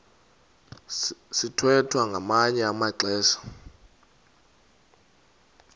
sithwethwa ngamanye amaxesha